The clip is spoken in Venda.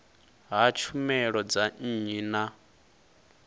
ha tshumelo dza nnyi na